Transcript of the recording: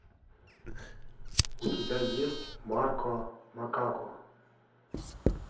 у тебя есть марко макако